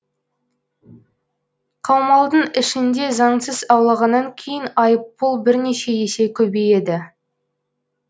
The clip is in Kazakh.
қаумалдың ішінде заңсыз аулағаннан кейін айыппұл бірнеше есе көбейеді